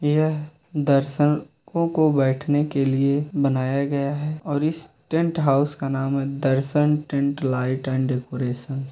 ये दर्शको को बैठने के लिए बनाया गया है और इस टेंट हाउस का नाम है Darshan tent light and decoration.